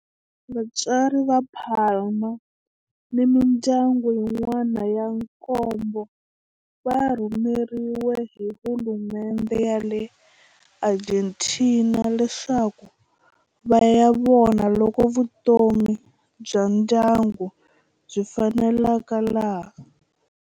Vatswari va Palma ni mindyangu yin'wana ya nkombo va rhumeriwe hi hulumendhe ya le Argentina leswaku va ya vona loko vutomi bya ndyangu byi faneleka laha.